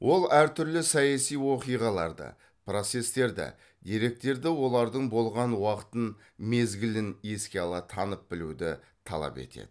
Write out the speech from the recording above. ол әр түрлі саяси оқиғаларды процестерді деректерді олардың болған уақытын мезгілін еске ала танып білуді талап етеді